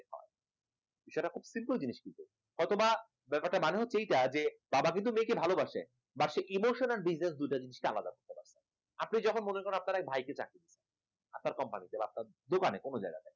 সেটা খুব simple জিনিস কিন্তু হয়তো বা ব্যাপারটা মনে হচ্ছে এটা যে বাবা কিন্তু মেয়েকে ভালোবাসছে বাসে emotional business দুইটা জিনিস কিন্তু আলাদা, আপনি যখন মনে করেন আপনার ভাইকে চাকরি দিয়েছেন আপনার company তে বা আপনার দোকানে কোন জায়গায়